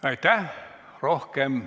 Meie tänane istung on lõppenud.